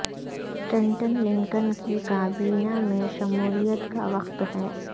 Stanton Lincoln کی کابینہ میں شمولیت کا وقت ہے